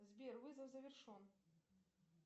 сбер вызов завершен